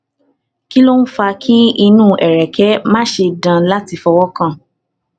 kí ló ń fa kí inu ereke mase dan lati fowokan